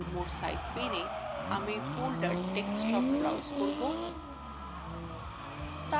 remote site paneএ আমি folder desktop browse করব